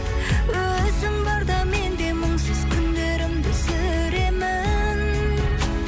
өзің барда мен де мұңсыз күндерімді сүремін